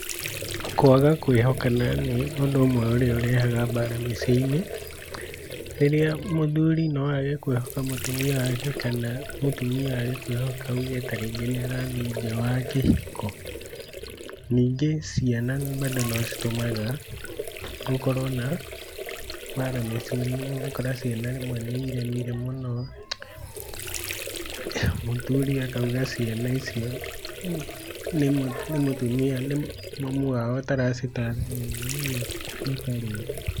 Kwaga kwĩhokana nĩ ũndũ ũmwe ũrĩa ũrehaga mbara mĩciĩ-inĩ, rĩrĩa mũthuri noage kwĩhoka mũtumia wake kana mũtumia aage kwĩhoka auge tarĩngĩ nĩ ũrathiĩ nja wa kĩhiko, ningĩ ciana nocitũmaga gukorwo na mbara mĩciĩ-inĩ, ũgakora rĩmwe nĩ iremire mũno mũthuri akauga ciana icio nĩ mũtumia, nĩ mamu wao ũtara citara wega ũguo makarũa.